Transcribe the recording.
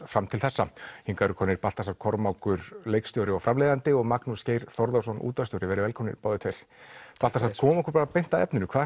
fram til þessa hingað eru komnir Baltasar Kormákur leikstjóri og framleiðandi og Magnús Geir Þórðarson útvarpsstjóri verið velkomnir báðir tveir Baltasar komum okkur beint að efninu hvað